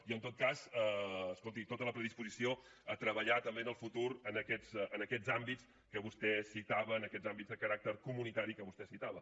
i en tot cas escolti tota la predisposició a treballar també en el futur en aquests àmbits que vostè citava en aquests àmbits de caràcter comunitari que vostè citava